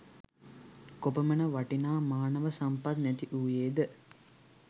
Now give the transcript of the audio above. කොපමණ වටිනා මානව සම්පත් නැති වූයේද